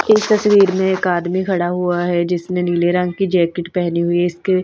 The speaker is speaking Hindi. इस तस्वीर में एक आदमी खड़ा हुआ है जिसने नीले रंग की जैकेट पहनी हुई है इसके--